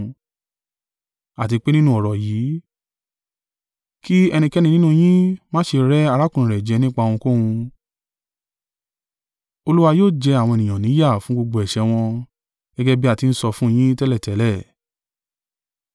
àti pé nínú ọ̀rọ̀ yìí, kí ẹnikẹ́ni nínú yín máa ṣe rẹ arákùnrin rẹ̀ jẹ nípa ohunkóhun. Olúwa yóò jẹ àwọn ènìyàn ní yà fún gbogbo ẹ̀ṣẹ̀ wọn, gẹ́gẹ́ bí a ti ń sọ fún un yín tẹ́lẹ̀tẹ́lẹ̀.